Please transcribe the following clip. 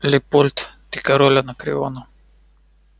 лепольд ты король анакреона